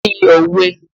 Kí ni òwe?